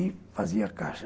E fazia a caixa.